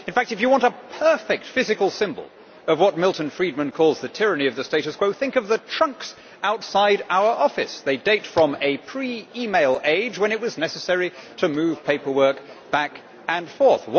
In fact, if you want a perfect physical symbol of what Milton Friedman calls the tyranny of the status quo, think of the trunks outside our offices. They date from a pre-e-mail age when it was necessary to move paperwork back and forth.